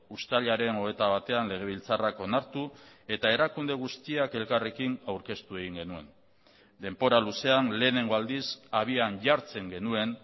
uztailaren hogeita batean legebiltzarrak onartu eta erakunde guztiak elkarrekin aurkeztu egin genuen denbora luzean lehenengo aldiz abian jartzen genuen